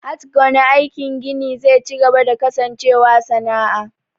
HHat ggone aikin gini ze cigaba da kasancewa sana'a.